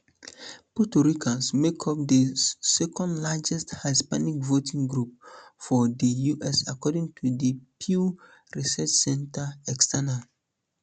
puerto ricans make up di secondlargest hispanic voting group for di us according to di pew research center external